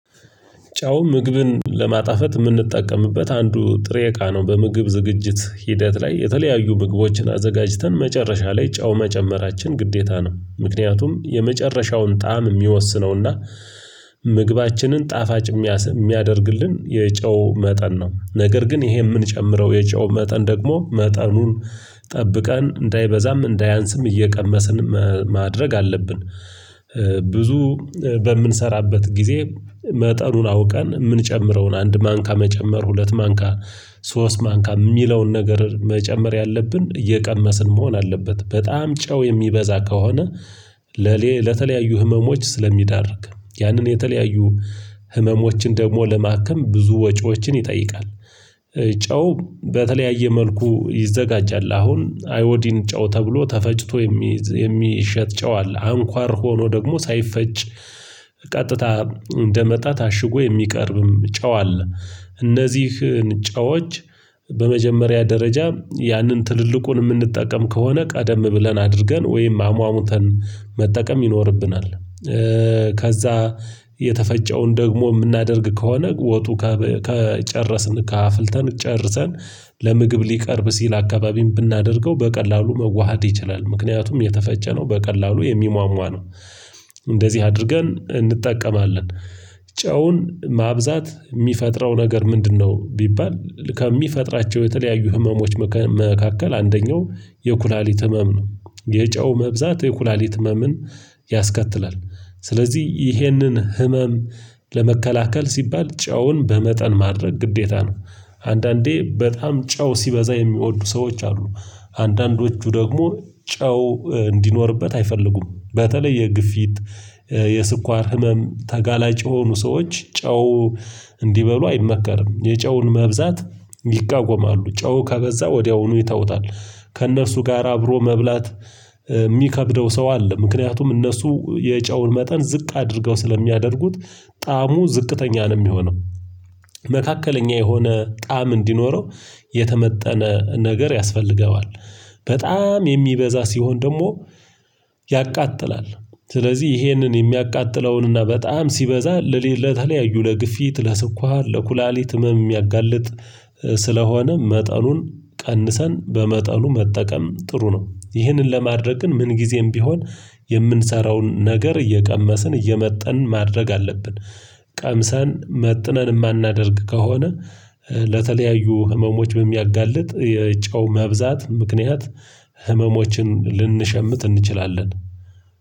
ጨው ምግብን ለማጣፈጥ የምንጠቀምበት አንዱ ጥሬ እቃ ነው በምግብ ዝግጅት ሂደት ላይ የተለያዩ ምግቦችን አዘጋጅተን መጨረሻ ላይ ጨው መጨመራችን ግዴታ ነው ምክንያቱም የመጨረሻውን ጣዕም የሚወስነውና ምግባችንን ጣፋጭ የሚያደርግልን የጨው መጠን ነው። ነገር ግን ይሄ የምንጨምረው የጨው መጠን ደግሞ መጠኑን ጠብቀን እንዳይበዛም እንዳያንስም እየቀመስን ማድረግ አለብን። ብዙ በምንሰራበት ጊዜ መጠኑን አውቀን የምንጨምረውን አንድ ማንካ መጨመር ሁለት ማንካ ሶስት ማንካ የሚለውን ነገር መጨመር ያለብን እየቀመስን መሆን አለበት በጣም ጨው የሚበዛ ከሆነ ለተለያዩ ህመሞች ስለሚዳርግ ያንን የተለያዩ ህመሞችን ደግሞ ለማከም ብዙ ወጪዎችን ይጠይቃል። ጨው በተለያየ መልኩ ይዘጋጃል አሁን አይኦዲን ጨው ተብሎ ተፈጭቶ የሚሸጥ ጨዋል አንኳር ሆኖ ደግሞ ሳይፈጭ ቀጥታ እንደመጣ ታሽጎ የሚቀርብም ጨው አለ። እነዚህን ጨዎች በመጀመሪያ ደረጃ ያንን ትልልቁን የምንጠቀም ከሆነ ቀደም ብለን አድርገን ወይም አሟሙተን መጠቀም ይኖርብናል። ከዛ የተፈጨውን ደግሞ የምናደርግ ከሆነ ወጡ ከጨረስን ከአፍልተን ጨርሰን ለምግብ ሊቀርብ ሲል አካባቢን ብናደርገው በቀላሉ መዋሃድ ይችላል ምክንያቱም የተፈጨነው በቀላሉ የሚሟሟ ነው። እንደዚህ አድርገን እንጠቀማለን። ጨውን ማብዛት የሚፈጥረው ነገር ምንድነው? ቢባል ከሚፈጥራቸው የተለያዩ ህመሞች መካከል አንደኛው የኩላሊት ህመም ነው። የጨው መብዛት የኩላሊት ህመምን ያስከትላል። ስለዚህ ይህንን ህመም ለመከላከል ሲባል ጨውን በመጠን ማድረግ ግዴታ ነው። አንዳንዴ በጣም ጨው ሲበዛ የሚወዱ ሰዎች አሉ። አንዳንዶቹ ደግሞ ጨው እንዲኖርበት አይፈልጉም በተለይ የግፊት የስኳር ህመም ተጋላጭ የሆኑ ሰዎች ጨው እንዲበሉ አይመከርም። የጨውን መብዛት ይቃወማሉ ጨው ከበዛ ወዲያውኑ ይተውታል። ከእነርሱ ጋር አብሮ መብላት የሚከብደው ሰው አለ። ምክንያቱም እነርሱ የጨውን መጠን ዝቅ አድርገው ስለሚያደርጉት ጣዕሙ ዝቅተኛ ነው የሚሆነው። መካከለኛ የሆነ ጣዕም እንዲኖረው የተመጠነ ነገር ያስፈልገዋል። በጣም የሚበዛ ሲሆን ደግሞ ያቃጥላል። ስለዚህ ይሄንን የሚያቃጥለውን እና በጣም ሲበዛ ለሌላ ለተለያዩ ለግፊት ለስኳር ለኩላሊት ህመም ሚያጋልጥ ስለሆነ መጠኑን ቀንሰን በመጠኑ መጠቀም ጥሩ ነው። ይህንን ለማድረግ ግን ምን ጊዜም ቢሆን የምንሰራውን ነገር እየቀመስን እየመጠን ማድረግ አለብን። ቀምሰን መጥነን የማናደርግ ከሆነ ለተለያዩ ህመሞች በሚያጋልጥ የጨው መብዛት ምክንያት ህመሞችን ልንሸምት እንችላለን